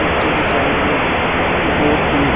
पीछे की साइड में वो बहुत भीड़ है।